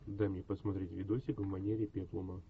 дай мне посмотреть видосик в манере пеплума